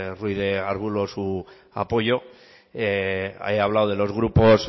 ruiz de arbulo su apoyo he hablado de los grupos